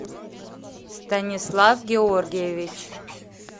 станислав георгиевич